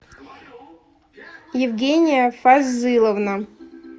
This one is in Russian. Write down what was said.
евгения фазыловна